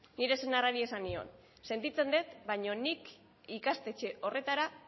nire senarrari esan nion sentitzen dut baina nik ikastetxe horretara